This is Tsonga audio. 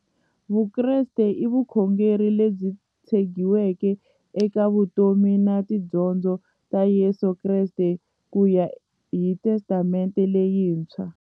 Vukreste i vukhongeri lebyi tshegiweke eka vutomi na tidyondzo ta Yesu Kreste kuya hi Testamente leyintshwa.